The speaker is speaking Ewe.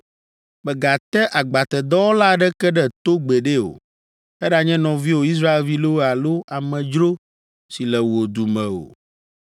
“Mègate agbatedɔwɔla aɖeke ɖe to gbeɖe o, eɖanye nɔviwò Israelvi loo alo amedzro si le wò du me o.